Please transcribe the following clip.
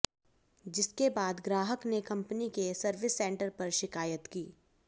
जिसके बाद ग्राहक ने कंपनी के सर्विस सेंटर पर शिकायत की